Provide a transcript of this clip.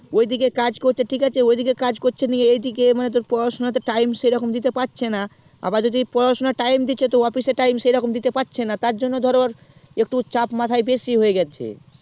ওই দিকে কাজ করছে বলছে ঠিক আছে নিয়ে এই দিকে মানে তোর পড়াশুনা করতে time দিতে পারছেনা আবা যদি পড়াশুনাই time দিচ্ছে তাহলে office এ time দিতে পারছেনা তার জন্য ধর ওর একটু মাথায় চাপ বেশি হয়ে গেলছে